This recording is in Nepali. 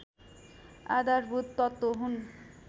आधारभूत तत्त्व हुन्